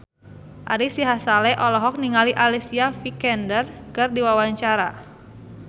Ari Sihasale olohok ningali Alicia Vikander keur diwawancara